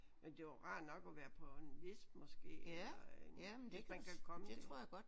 Men det er jo rart nok at være på en liste måske eller en hvis man kan komme det